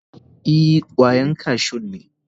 Ee, kwayan kashun ne.